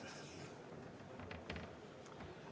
Aitäh!